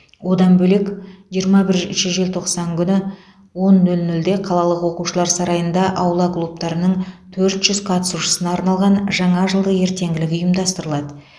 одан бөлек жиырма бірінші желтоқсан күні он нөл нөлде қалалық оқушылар сарайында аула клубтарының төрт жүз қатысушысына арналған жаңа жылдық ертеңгілік ұйымдастырылады